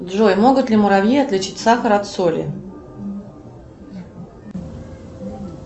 джой могут ли муравьи отличить сахар от соли